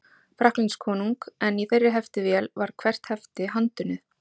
Frakklandskonung, en í þeirri heftivél var hvert hefti handunnið.